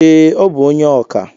Ee, ọ bụ onye oka